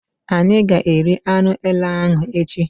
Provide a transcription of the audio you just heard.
Ányi ga-eri anụ èlé ahụ echi